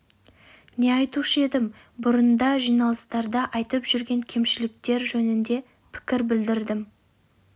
не айтушы едім бұрын да жиналыстарда айтып жүрген кемшіліктер жөнінде пікір білдірдім